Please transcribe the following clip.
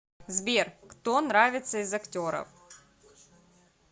сбер кто нравится из актеров